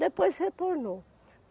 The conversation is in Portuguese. Depois retornou.